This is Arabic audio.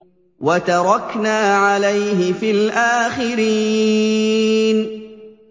وَتَرَكْنَا عَلَيْهِ فِي الْآخِرِينَ